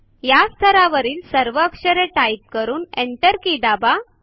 या स्थरावरील सर्व अक्षरे टाइप करा आणि Enter के दाबा